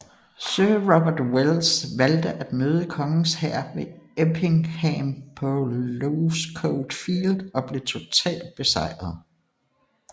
Sir Robert Welles valgte at møde kongens hær ved Empingham på Losecoat Field og blev totalt besejret